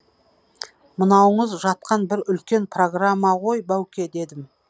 мынауыңыз жатқан бір үлкен программа ғой бауке дедім